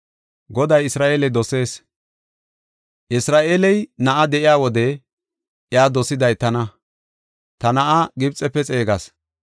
“Isra7eeley na7a de7iya wode iya dosiday tana; ta na7aa Gibxefe xeegas.